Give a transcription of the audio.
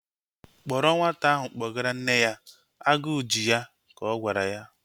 Kpọrọ nwata ahụ kpọgara nne ya! Agụ ji ya, ka ọ gwara ya